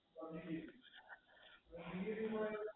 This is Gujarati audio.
હમ